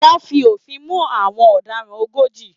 Wọ́n fi òfin mú àwọn ọ̀daràn ogójì.